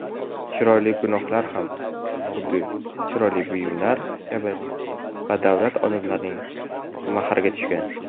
Chiroyli gunohlar ham xuddi chiroyli buyumlar kabi badavlat odamlarning mahriga tushgan.